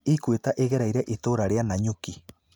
Ikwĩta ĩgereira itũũra rĩa Nanyuki.